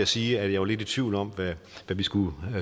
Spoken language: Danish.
sige at jeg var lidt i tvivl om hvad vi skulle